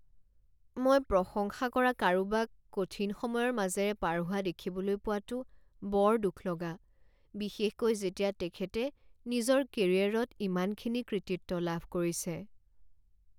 মই প্ৰশংসা কৰা কাৰোবাক কঠিন সময়ৰ মাজেৰে পাৰ হোৱা দেখিবলৈ পোৱাটো বৰ দুখলগা, বিশেষকৈ যেতিয়া তেখেতে নিজৰ কেৰিয়াৰত ইমানখিনি কৃতিত্ব লাভ কৰিছে।